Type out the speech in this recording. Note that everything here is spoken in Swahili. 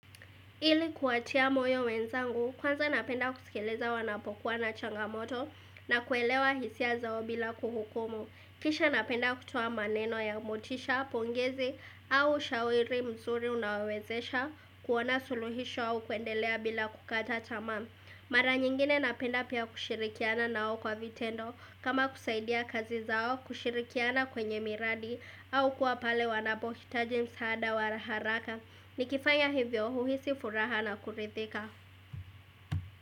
Ili kuwatia moyo wenzangu, kwanza napenda kuskiliza wanapokuwa na changamoto na kuelewa hisia zao bila kuhukumu. Kisha napenda kutoa maneno ya motisha, pongezi au shauri mzuri unaowezesha, kuona suluhisho au kuendelea bila kukata tamaa. Mara nyingine napenda pia kushirikiana nao kwa vitendo kama kusaidia kazi zao kushirikiana kwenye miradi au kuwa pale wanapohitaji msaada wa haraka. Nikifanya hivyo huhisi furaha na kurithika.